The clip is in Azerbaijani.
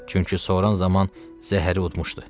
Çünki soran zaman zəhəri udmuşdu.